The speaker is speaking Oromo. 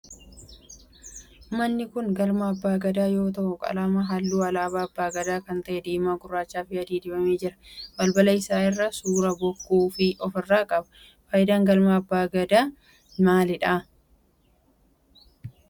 Manni kun galma abbaa Gadaa yoo ta'u qalama halluu alaabaa abbaa Gadaa kan ta'e diimaa, gurraachaa fi adii dibamee jira. Balbala isaa irraa suuraa bokkuu of irraa qaba. Faayidaan galma abbaa Gadaa maalidha?